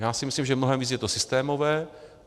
Já si myslím, že mnohem víc je to systémové.